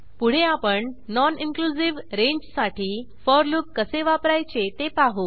पुढे आपण non inclusive रेंजसाठी फोर लूप कसे वापरायचे ते पाहू